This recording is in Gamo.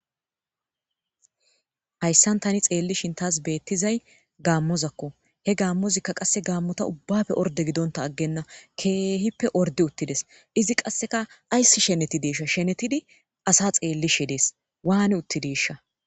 Hayssan thaani tseellishin thas beeththizay gaammozakko; he gaammozikka qa gaammoza ubbaappe ordde gidonththa aggenna; keehippe orddi7uththi des; izi qassikka ayssi shenethideeshsha shenethidi asaa tseelishe dees; waani7uththideeshsha.